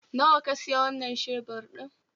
Nawa ka siya wanan shebur ɗin?